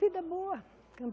Vida boa.